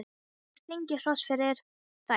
Hann hafði fengið hrós fyrir þær.